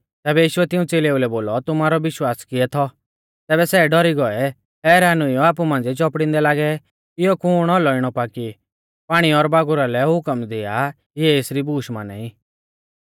तैबै यीशुऐ तिऊं च़ेलेऊ लै बोलौ तुमारौ विश्वास कियै थौ तैबै सै डौरी गौऐ हैरान हुइयौ आपु मांझ़िऐ चौपड़िदै लागै इयौ कुण औलौ इणौ पा कि पाणी और बागुरा लै हुकम दिआ इऐ एसरी बूश माना ई